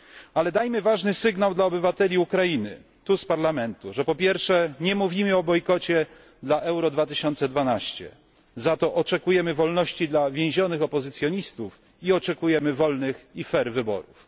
Ale dajmy ważny sygnał pod adresem obywateli Ukrainy, tu, z Parlamentu, że po pierwsze, nie mówimy o bojkocie Euro 2012, ale za to oczekujemy wolności dla więzionych opozycjonistów oraz oczekujemy wolnych i uczciwych wyborów.